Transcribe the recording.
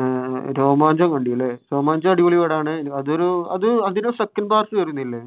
ആഹ് രോമാഞ്ചം കണ്ടു അല്ലെ. രോമാഞ്ചം അടിപൊളി പടമാണ്. അതഅതൊരു second part വരുന്നില്ലേ?